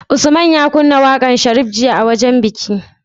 Usman ya kunna waƙar sharif jiya a wajan biki?